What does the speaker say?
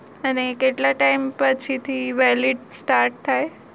અને કેટલા time પછી થી valid start